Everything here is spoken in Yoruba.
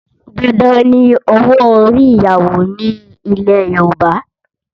Dandan ni owó orí ìyàwó ní ilẹ̀ Yorùbá